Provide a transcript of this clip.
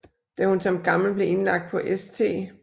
Da hun som gammel blev indlagt på St